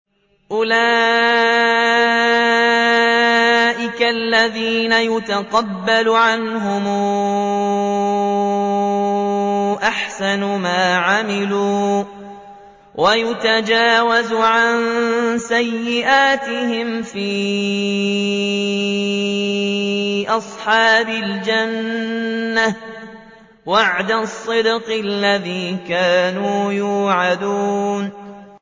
أُولَٰئِكَ الَّذِينَ نَتَقَبَّلُ عَنْهُمْ أَحْسَنَ مَا عَمِلُوا وَنَتَجَاوَزُ عَن سَيِّئَاتِهِمْ فِي أَصْحَابِ الْجَنَّةِ ۖ وَعْدَ الصِّدْقِ الَّذِي كَانُوا يُوعَدُونَ